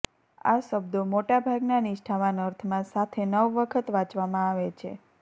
આ શબ્દો મોટા ભાગના નિષ્ઠાવાન અર્થમાં સાથે નવ વખત વાંચવામાં આવે છે